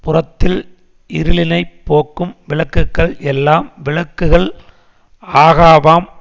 புறத்தில் இருளினைப் போக்கும் விளக்குக்கள் எல்லாம் விளக்குகள் ஆகாவாம்